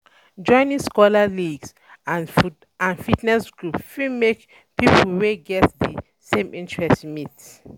Joining soccer league or fitness group fit make people wey um get the um same interest meet